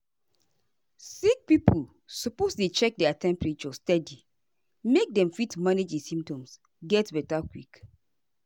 sick pipo suppose dey check their temperature steady make dem fit manage di symptoms get beta quick.